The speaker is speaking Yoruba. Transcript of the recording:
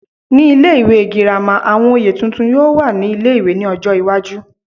Ní ilé ìwé girama, àwọn oyè tuntun yóò wà ní ilé-ìwé ní ọjọ́ iwájú